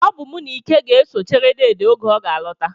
Ọ bụ mụ na Ike ga-eso chere deede oge ọ ga-alọta